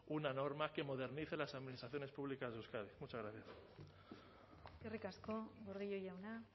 una norma que modernice las administraciones públicas de euskadi muchas gracias eskerrik asko gordillo jauna